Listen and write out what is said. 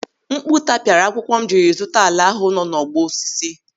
Mkpu tapiara akwụkwọ m jiri zụta ala ahụ nọ n'ọgbọ osisi.